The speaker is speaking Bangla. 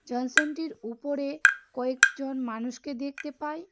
টির উপরে কয়েকজন মানুষকে দেখতে পাই.